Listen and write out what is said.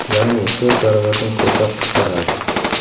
Ya’ni to‘rt baravardan ko‘proq qisqaradi.